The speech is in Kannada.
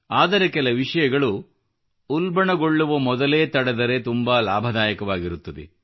ಆದರೆ ಕೆಲ ವಿಷಯಗಳು ಉಲ್ಬಣಗೊಳ್ಳುವ ಮೊದಲೇ ತಡೆದರೆ ತುಂಬಾ ಲಾಭ ದಾಯಕವಾಗಿರುತ್ತದೆ